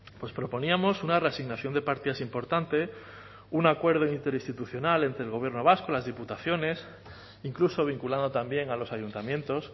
pues proponíamos una reasignación de partidas importante un acuerdo interinstitucional entre el gobierno vasco las diputaciones incluso vinculando también a los ayuntamientos